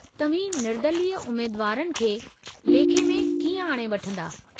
तव्हीं निर्दलीय उमेदुवारनि खे लेखे में कीअं ई आणे वठिंदा?